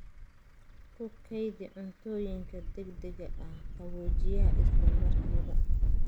Ku kaydi cuntooyinka degdega ah qaboojiyaha isla markiiba.